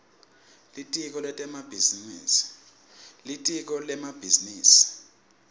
litiko lemabhizinisi